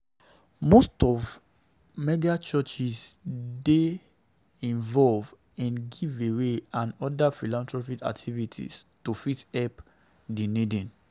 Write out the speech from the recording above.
Most of the megachurchs dey involve in giveaways and other philanthropic activities to fit help di needy